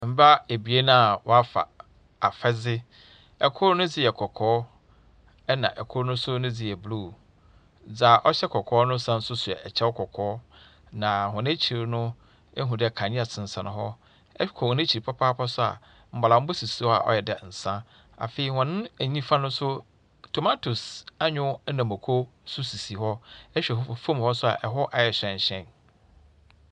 Mbaa ebien a wɔafa afadze. Kor ne dze yɛ kɔkɔɔ, ɛnna kor no dze yɛ blue. Dza ɔhyɛ kɔkɔɔ no san nso hyɛ kyɛ kɔkɔɔ, na hɔn ekyir no ehu dɛ kanea sensɛn hɔ. Ɛkɔ hɔn ekyir papaapa nso a, mbɔdambɔ sisi hɔ a ɔyɛ dɛ nsa. Afei hɔ nifa no nso, tomatoes, anyow na mmoko nso sisi hɔ. ɛhwɛ fam hɔ nso a, ɛhɔ ayɛ hyɛnhyɛn.